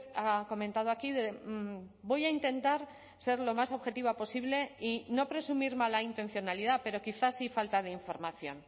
ha comentado aquí voy a intentar ser lo más objetiva posible y no presumir mala intencionalidad pero quizás sí falta de información